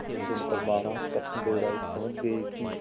यह सुनकर महाराज कृष्णदेव राय समझ गए कि